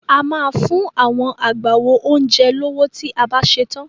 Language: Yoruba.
A máa fún agbáwo oúnjẹ lówó tí a bá ṣetán.